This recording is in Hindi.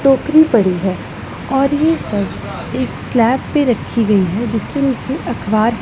टोकरी पड़ी है और ये सब एक स्लैब पे रखी गई है जिसके नीचे अख़बार--